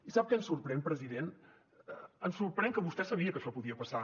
i sap què ens sorprèn president ens sorprèn que vostè sabia que això podia passar